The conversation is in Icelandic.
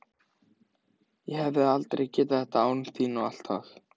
Ég hefði aldrei getað þetta án þín og allt það.